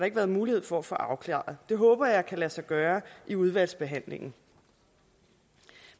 ikke været mulighed for at få afklaret det håber jeg kan lade sig gøre i udvalgsbehandlingen